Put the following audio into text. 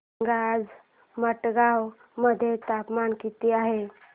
सांगा आज मडगाव मध्ये तापमान किती आहे